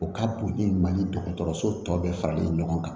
O ka bon ni mali dɔgɔtɔrɔso tɔ bɛɛ faralen ɲɔgɔn kan